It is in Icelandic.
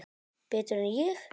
Betur en ég?